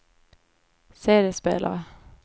CD-spelare